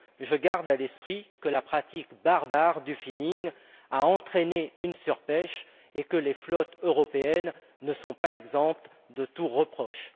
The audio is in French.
Je garde à l'esprit que la pratique barbare du finning a entraîné une surpêche, et que les flottes européennes ne sont pas exemptes de tout reproche.